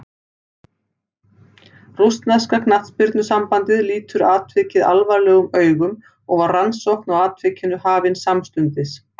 Rússneska knattspyrnusambandið lítur atvikið alvarlegum augum og var rannsókn á atvikinu hafin samstundis.